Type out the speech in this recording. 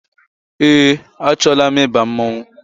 Eé, achọọla m ịba mmọnwụ.